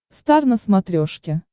стар на смотрешке